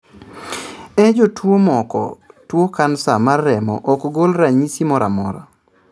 E jotuo moko, tuo kansa mar remo ok gol ranyisi moramora